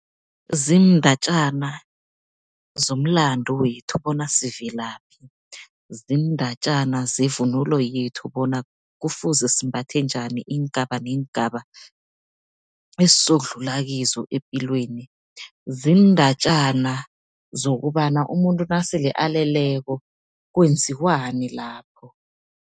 Ziindatjana zomlandu wethu bona sivelaphi. Ziindatjana zevunulo yethu bona kufuze simbathe njani, iingaba neengaba esizokudlula kizo epilweni. Ziindatjana zokobana umuntu nasele aleleko kwenziwani lapho.